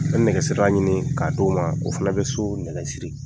An bɛ nɛgɛsirala ɲini k'a d'o ma. O fana bɛ sow nɛgɛ siri.